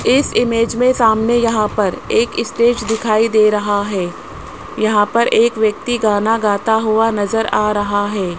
इस इमेज में सामने यहां पर एक स्टेज दिखाई दे रहा है यहां पर एक व्यक्ति गाना गाता हुआ नजर आ रहा है।